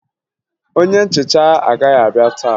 Onye nhicha agaghị abịa taa